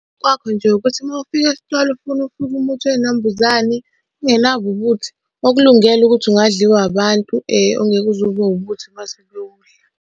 Kwakho nje ukuthi uma ufika esitolo ufuna umuthi wey'nambuzane ongenabo ubuthi, okulungele ukuthi ungadliwa abantu ongeke uze ube ubuthi uma sebewudla.